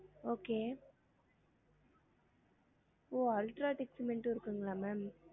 Okay ஓ UltraTech cement இருக்குங்களா ma'am?